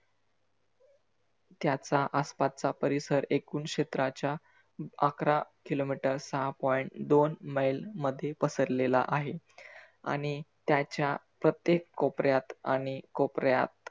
त्याचा आसपासचा परिसर एकून क्षेत्राच्या. अकरा किलो मिटर साहा point दोन मैल मध्ये पसरलेला आहे. आणि त्याच्या प्रत्येक कोपर्‍यात आणि कोपर्‍यात